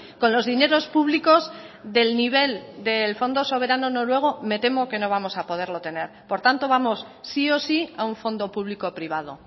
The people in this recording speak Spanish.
con los dineros públicos del nivel del fondo soberano noruego me temo que no vamos a poderlo tener por tanto vamos sí o sí a un fondo público privado